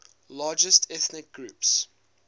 largest ethnic groups